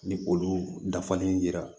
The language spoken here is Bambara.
Ni olu dafalen yira